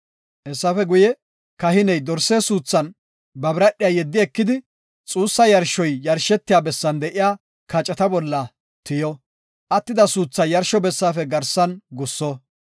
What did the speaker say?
Hessafe guye, kahiney dorse suuthan ba biradhiya yeddi ekidi xuussa yarshoy yarshetiya bessan de7iya kaceta bolla tiyo. Attida suuthaa yarsho bessaafe garsan gusso.